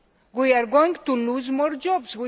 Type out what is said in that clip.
We are going to lose more jobs.